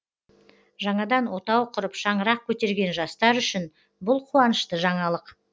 жаңадан отау құрып шаңырақ көтерген жастар үшін бұл қуанышты жаңалық